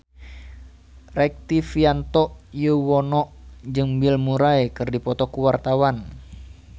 Rektivianto Yoewono jeung Bill Murray keur dipoto ku wartawan